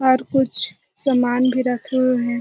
और कुछ समान भी रखे हुए है |